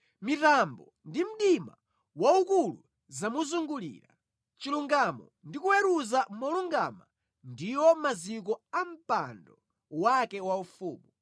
Mitambo ndi mdima waukulu zamuzungulira; chilungamo ndi kuweruza molungama ndiwo maziko a mpando wake waufumu.